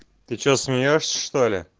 ты че смеёшься что ли